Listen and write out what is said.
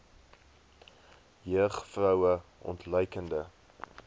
jeug vroue ontluikende